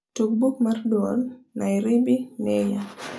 tug buk mar duol nairibi noir